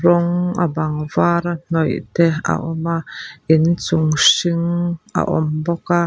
rawng a bang var a hnawih te a awm a inchung hring a awm bawk a.